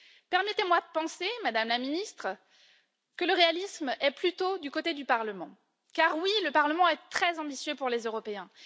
Permettez moi de penser, Madame la Ministre, que le réalisme est plutôt du côté du Parlement, car, celui ci est assurément très ambitieux pour les Européens.